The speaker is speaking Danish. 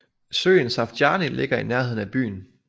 Søen Safjany ligger i nærheden af byen